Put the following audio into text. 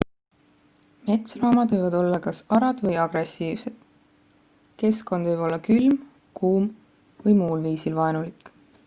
metsloomad võivad olla kas arad või agressiivsed keskkond võib olla külm kuum või muul viisil vaenulik